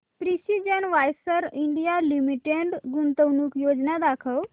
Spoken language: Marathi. प्रिसीजन वायर्स इंडिया लिमिटेड गुंतवणूक योजना दाखव